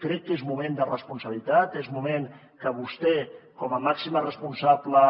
crec que és moment de responsabilitat és moment que vostè com a màxima responsable